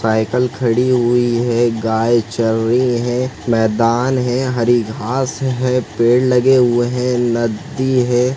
Cycle खड़ी हुई है गाय चर री है मैदान है हरी घास है पेड़ लगे हुए है नद्दी है।